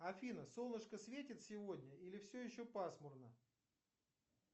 афина солнышко светит сегодня или все еще пасмурно